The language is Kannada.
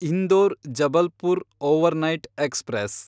Indore Jabalpur overnight express